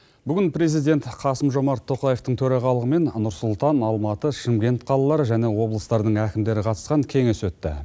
бүгін президент қасым жомарт тоқаевтың төрағалығымен нұр сұлтан алматы шымкент қалалары және облыстардың әкімдері қатысқан кеңес өтті